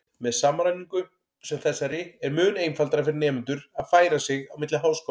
Með samræmingu sem þessari er mun einfaldara fyrir nemendur að færa sig á milli háskóla.